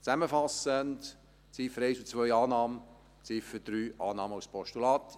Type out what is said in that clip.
Zusammenfassend: Ziffern 1 und 2: Annahme, Ziffer 3: Annahme als Postulat.